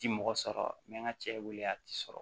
Ti mɔgɔ sɔrɔ n bɛ n ka cɛ weele a ti sɔrɔ